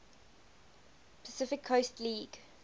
pacific coast league